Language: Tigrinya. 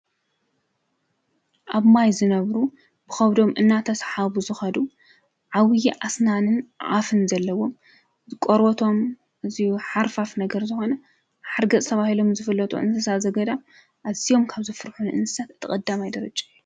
ኣብ ማይ ዝነበሩ ብኸብዶም እናተስሓቡ ዝኸዱ ዓብዪ ኣስናንን ኣፍን ዘለዎም ቆርበቶም ኣዝዩ ሓርፋፍ ነገር ዝኾነ ሓርገፅ ተባሂሎም ዝፍለጡ እንስሳ ዝገዳም ኣዝዮም ካብ ዘፍርሑኒ እንስሳት እቲ ቐዳማይ ደረጃ እዩ።